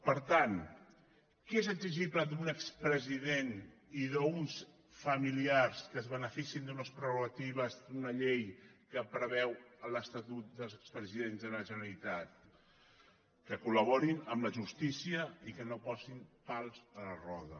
per tant què és exigible d’un expresident i d’uns familiars que es beneficien d’unes prerrogatives d’una llei que preveu l’estatut dels expresidents de la generalitat que col·laborin amb la justícia i que no posin pals a la roda